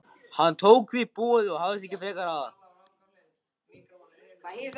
Hann tók því boði og hafðist ekki frekar að.